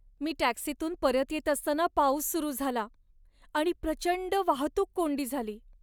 मी टॅक्सीतून परत येत असताना पाऊस सुरू झाला आणि प्रचंड वाहतूक कोंडी झाली.